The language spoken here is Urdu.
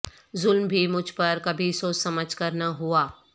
ظلم بھی مجھ پہ کبھی سوچ سمجھ کر نہ ہوا